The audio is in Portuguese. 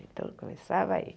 Então eu começava aí.